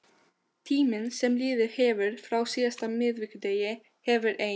Tíminn sem liðið hefur frá síðasta miðvikudegi hefur ein